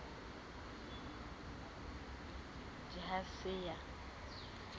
d i ha se a